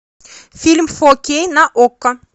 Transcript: фильм фо кей на окко